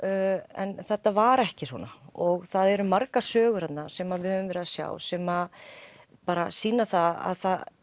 en þetta var ekki svona og það eru margar sögur sem við höfum verið að sjá sem sýna það að